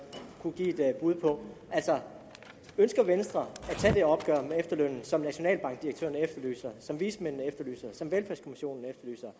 kunne give et bud på altså ønsker venstre at tage det opgør med efterlønnen som nationalbankdirektøren efterlyser som vismændene efterlyser som velfærdskommissionen